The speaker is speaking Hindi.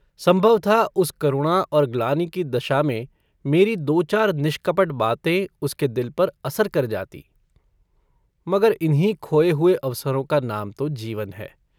संभव था उस करुणा और ग्लानि की दशा में मेरी दो चार निष्कपट बातें उसके दिल पर असर कर जाती मगर इन्हीं खोये हुए अवसरों का नाम तो जीवन है।